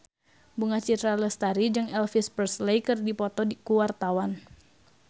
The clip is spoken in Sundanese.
Bunga Citra Lestari jeung Elvis Presley keur dipoto ku wartawan